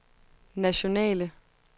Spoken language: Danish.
nationale